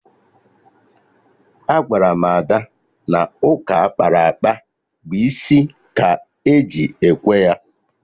Agwara m Ada na ụka akpara akpa bụ isi ka eji ekwe ya